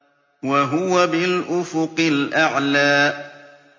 وَهُوَ بِالْأُفُقِ الْأَعْلَىٰ